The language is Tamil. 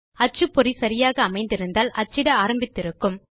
அச்சுப்பொறி சரியாக அமைந்திருந்தால் அச்சிட ஆரம்பித்து இருக்கும்